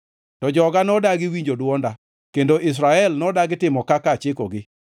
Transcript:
“To joga nodagi winjo dwonda kendo Israel nodagi timo kaka achikogi.